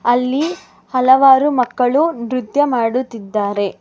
ಅಲ್ಲಿ ಹಲವಾರು ಮಕ್ಕಳು ನೃತ್ಯ ಮಾಡುತ್ತಿದ್ದಾರೆ.